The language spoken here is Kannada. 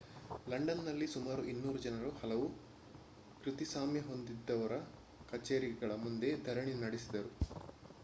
ಲಂಡನ್‌ನಲ್ಲಿ ಸುಮಾರು 200 ಜನರು ಹಲವು ಕೃತಿಸಾಮ್ಯ ಹೊಂದಿದ್ದವರ ಕಛೇರಿಗಳ ಮುಂದೆ ಧರಣಿ ನಡೆಸಿದರು